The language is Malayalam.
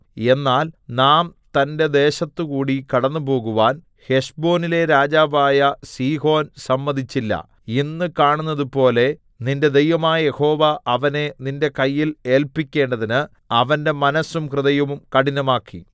എന്നാൽ നാം തന്റെ ദേശത്തുകൂടി കടന്നുപോകുവാൻ ഹെശ്ബോനിലെ രാജാവായ സീഹോൻ സമ്മതിച്ചില്ല ഇന്ന് കാണുന്നതുപോലെ നിന്റെ ദൈവമായ യഹോവ അവനെ നിന്റെ കയ്യിൽ ഏല്പിക്കേണ്ടതിന് അവന്റെ മനസ്സും ഹൃദയവും കഠിനമാക്കി